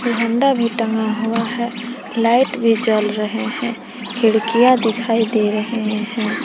झंडा भी टंगा हुआ है लाइट भी जल रहे हैं खिड़कियां दिखाई दे रहे हैं।